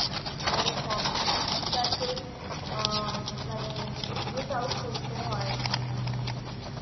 যাদের hobby টাকেই আ মানে miss out করতে হয়